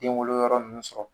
Den wolo yɔrɔ nunnu sɔrɔ.